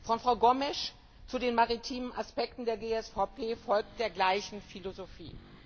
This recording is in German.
Bericht von Frau Gomes zu den maritimen Aspekten der GSVP folgt der gleichen Philosophie.